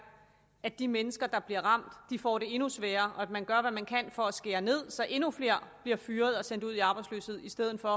at de mennesker der bliver ramt får det endnu sværere og at man gør hvad man kan for at skære ned så endnu flere bliver fyret og sendt ud i arbejdsløshed i stedet for